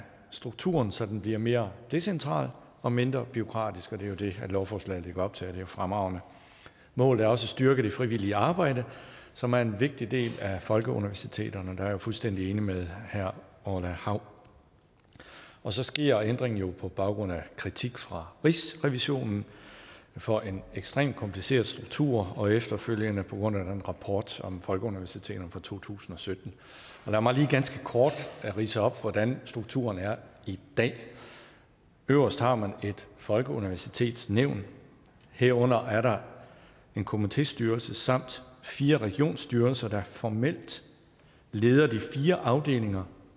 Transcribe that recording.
strukturen så den bliver mere decentral og mindre bureaukratisk og det er det lovforslaget lægger op til det er jo fremragende målet er også at styrke det frivillige arbejde som er en vigtig del af folkeuniversiteterne der er jeg fuldstændig enig med herre orla hav og så sker ændringen jo på baggrund af kritik fra rigsrevisionen for en ekstremt kompliceret struktur og efterfølgende på grund af den rapport om folkeuniversiteterne fra to tusind og sytten lad mig lige ganske kort ridse op hvordan strukturen er i dag øverst har man et folkeuniversitetsnævn her under er der en komitéstyrelse samt fire regionsstyrelser der formelt leder de fire afdelinger